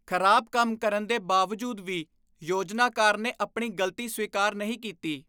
ਖ਼ਰਾਬ ਕੰਮ ਕਰਨ ਦੇ ਬਾਵਜੂਦ ਵੀ ਯੋਜਨਾਕਾਰ ਨੇ ਆਪਣੀ ਗਲਤੀ ਸਵੀਕਾਰ ਨਹੀਂ ਕੀਤੀ।